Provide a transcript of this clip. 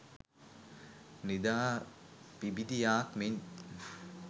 නිදා පිබිදීයාක් මෙන්